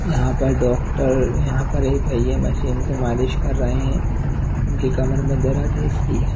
यहां पर डॉक्टर यहां पर ये भैया मशीन से मालिश कर रहे है उनकी कमर मे दर्द है इसलिए।